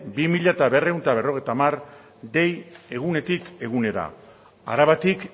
bi mila berrehun eta berrogeita hamar dei egunetik egunera arabatik